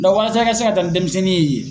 walasa i ka se ka taa ni denmisɛnnin ye yen.